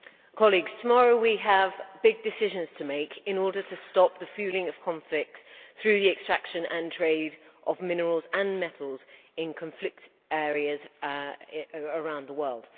Mr President, tomorrow we have big decisions to make in order to stop the fuelling of conflict through the extraction of, and trade in, minerals and metals in conflict areas around the world.